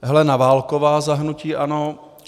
Helena Válková - hnutí ANO